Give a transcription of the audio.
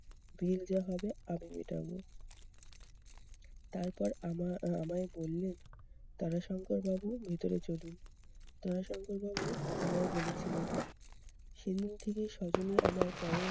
bill যা হবে আমি মেটাবো। তারপর আমার আহ আমায় বললেন, তারাশঙ্করবাবু ভেতরে চলুন। তারাশঙ্কর বাবু আমায় বলেছিলেন, সেদিন থেকে সজনী আমার পরম